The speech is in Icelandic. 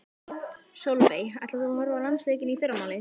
Sólveig: Ætlar þú að horfa á landsleikinn í fyrramálið?